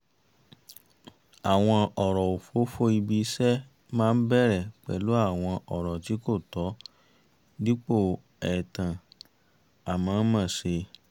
àwọn ọ̀rọ̀ òfófó ibi-iṣẹ́ máa ń bẹ̀rẹ̀ pẹ̀lú àwọn ọ̀rọ̀ tí kò tọ́ dípò ẹ̀tàn à mọ̀ ọ́n mọ̀ ṣe